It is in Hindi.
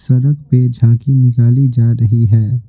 सड़क पे झांकी निकाली जा रही है।